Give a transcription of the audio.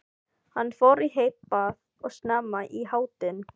Hann fór í heitt bað og snemma í háttinn.